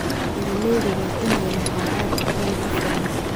Beeralayda waa inay lahaadaan aqoon ku filan.